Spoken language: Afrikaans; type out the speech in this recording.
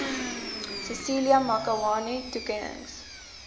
cecilia makiwane toekennings